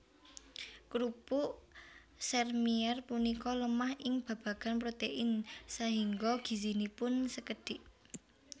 Krupuk sèrmièr punika lemah ing babagan protein sahingga gizinipun sekedhik